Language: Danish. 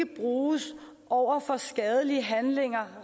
bruges over for skadelige handlinger